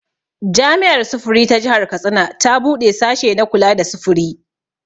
Jami'ar sufuri ta jihar Katsina ta buɗe sashe na kula da sufuri